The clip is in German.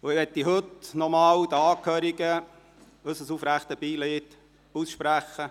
Heute möchte ich den Angehörigen nochmals unser aufrichtig empfundenes Beileid aussprechen.